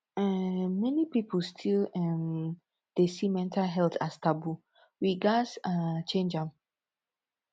um many pipu still um dey see mental health as taboo we gats um change am